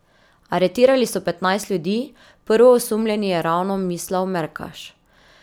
Aretirali so petnajst ljudi, prvoosumljeni je ravno Mislav Merkaš.